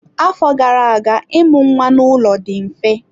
Afọ gara aga ịmụ nwa n'ụlọ dị mfe.